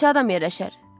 Bura neçə adam yerləşər?